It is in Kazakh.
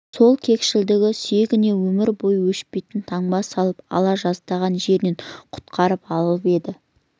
сол кекшілдігі сүйегіне өмір бойы өшпейтін таңба салып ала жаздаған жерінен құтқарып қалып еді